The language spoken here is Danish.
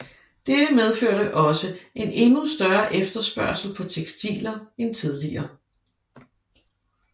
Dette medførte også en endnu større efterspørgsel på tekstiler end tidligere